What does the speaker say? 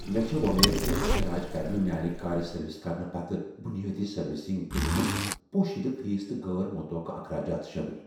مےٚ چھےٚ وۄمید زِ گراج کر نہٕ میٛانہ كارِ سروس کرنہٕ پتہٕ بنیٲدی سروسنگ بلہِ منٛز پوشیدہ فیس تہٕ غٲر متوقع اخراجات شٲمل۔